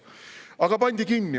Igatahes see pandi kinni.